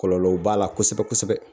Kɔlɔlɔw b'a la kosɛbɛ kosɛbɛ